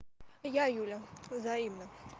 я юля взаимно